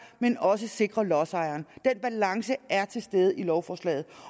men også sikre lodsejeren den balance er til stede i lovforslaget